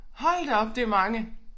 Hold da op det mange